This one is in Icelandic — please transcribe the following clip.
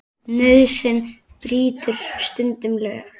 Nauðsyn brýtur stundum lög.